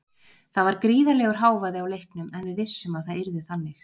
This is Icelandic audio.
Það var gríðarlegur hávaði á leiknum en við vissum að það yrði þannig.